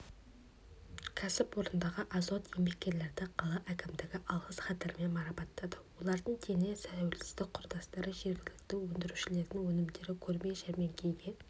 кәсіпорындағы озат еңбеккерлерді қала әкімдігі алғыс хаттармен марапаттады олардың дені тәуелсіздік құрдастары жергілікті өндірушілердің өнімдері көрме-жәрмеңкеге